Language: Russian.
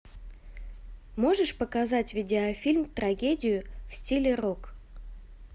можешь показать видеофильм трагедию в стиле рок